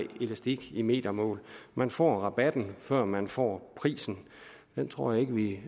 elastik i metermål man får rabatten før man får prisen det tror jeg ikke vi